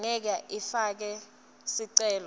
angeke ifake sicelo